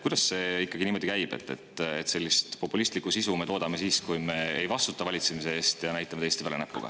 Miks see ikkagi niimoodi käib, et me toodame sellist populistlikku sisu ja näitame teiste peale näpuga siis, kui me ei vastuta valitsemise eest?